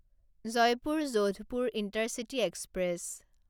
Jaipur Jodhpur intercity express